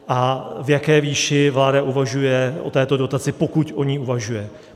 A v jaké výši vláda uvažuje o této dotaci, pokud o ní uvažuje?